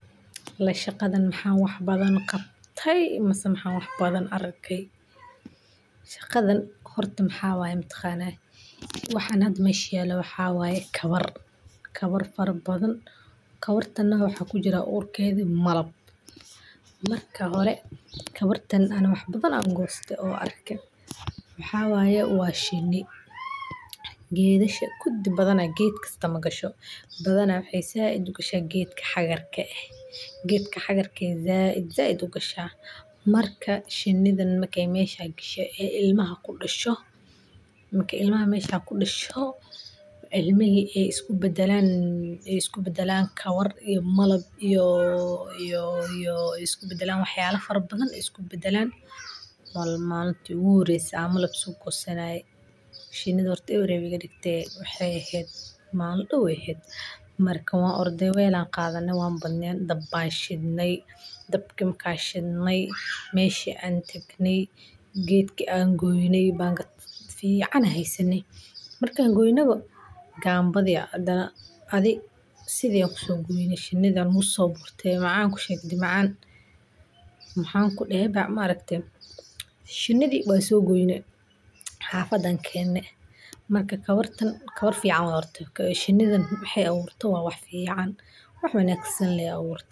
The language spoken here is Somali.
Alaa shaqadan maxan wax badan qabtey ama maxan wax badan arkay. Shaqadan horta maxa waye mataqana mise horta waxan mesha yala mataqana waa kawar , kawar fara badan, kawartana waxa kujiraa urkedi malab. ,Marka hore ani kawartan wax badane an goste waxa waye waa shini gedasha kudi badana ged kasto magasho , badana waxey zaid u gasha gedka hagar ka eh . Gedka hagar ka zaid u gasha marka shinidan markey mesha gashe oo ilmaha kudasho ,ilmihi ay isku badalan kawar iyo malab ,malab iyo wax yalo faro badan ay isku bedelan. Malinti igu horese oo an malab so goysanaye inta waxey ehed cunto, marka wan orde wel an qadane oo dab ayan shidnay, dabki marki an shidney meshi an tagnay gedki an shidney gedki an goynay, bangad fican ayan hesane markan goynaba dac adhi si ayan shinidi kuso goynay baguligi kuso gurtay macan kusheg hade macan , bas maxan kudehe hade maaragte shinidi wan so goynay xafada ayan kenay marka kabartan waa kabar fican horta ,shinidan waxey aburte horta wa wax fican wax wanagsan lee aburte.